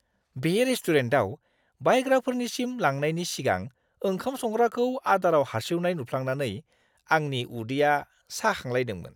बे रेस्टुरेन्टआव बायग्राफोरनिसिम लांनायनि सिगां ओंखाम संग्राखौ आदाराव हार्सिउनाय नुफ्लांनानै आंनि उदैया साखांलायदोंमोन!